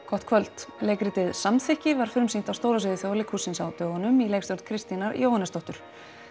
gott kvöld leikritið samþykki var frumsýnt á stóra sviði Þjóðleikhússins á dögunum í leikstjórn Kristínar Jóhannesdóttur